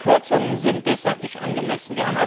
Die Kürzungen sind deshalb nicht angemessen.